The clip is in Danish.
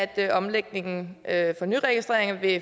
af omlægningen at